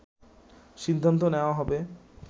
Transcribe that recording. সিদ্ধান্ত নেয়া হবে